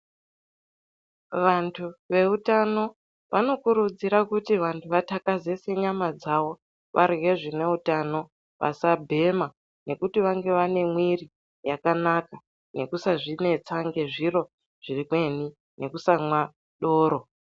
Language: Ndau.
Vantu veutano vanokurudzira kuti vantu vatakazese nyana dzavo varye zvine utano vasabhema ngekuti vange vane mwiri yakanaka ngekusazvinetsa nezviro zvimweni nekusamwa doro.